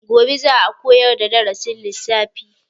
Gobe za a koyar da darasin lissafi.